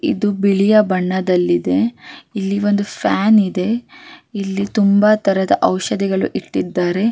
ಜನರಿಗೆ ಅಗತ್ಯ ಇರುವ ಎಲ್ಲ ದಿನಸಿ ಐಟಂ ಗಳು--